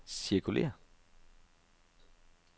cirkulér